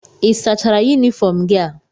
Ị sachara yunifọọm gị a?